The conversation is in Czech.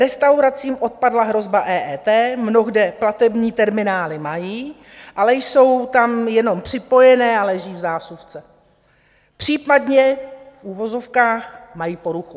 Restauracím odpadla hrozba EET, mnohde platební terminály mají, ale jsou tam jenom připojené a leží v zásuvce, případně - v uvozovkách - mají poruchu.